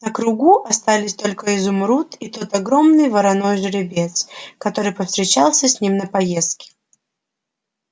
на кругу остались только изумруд и тот огромный вороной жеребец который повстречался с ним на проездке